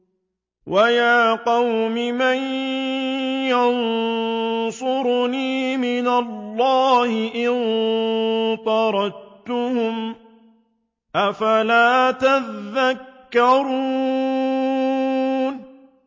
وَيَا قَوْمِ مَن يَنصُرُنِي مِنَ اللَّهِ إِن طَرَدتُّهُمْ ۚ أَفَلَا تَذَكَّرُونَ